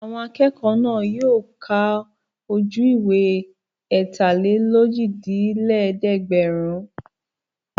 Àwọn akẹ́kọ̀ọ́ náà yóò ka ojú-ìwé ẹ̀tàlélójìlélẹ́ẹ̀dẹ́gbẹ̀rún.